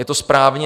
Je to správně.